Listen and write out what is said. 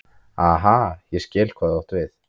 Aha, ég skil hvað þú átt við.